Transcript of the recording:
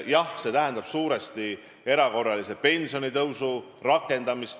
Jah, see tähendab suuresti erakorralise pensionitõusu rakendamist.